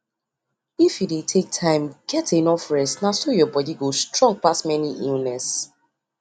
if you dey take time get enough rest na so your body go strong pass many illness